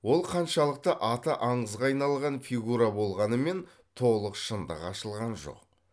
ол қаншалықты аты аңызға айналған фигура болғанымен толық шындық ашылған жоқ